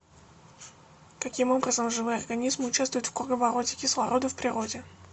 каким образом живые организмы участвуют в круговороте кислорода в природе